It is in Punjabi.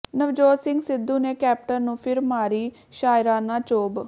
ਨਵਜੋਤ ਸਿੰਘ ਸਿੱਧੂ ਨੇ ਕੈਪਟਨ ਨੂੰ ਫਿਰ ਮਾਰੀ ਸ਼ਾਇਰਾਨਾ ਚੋਭ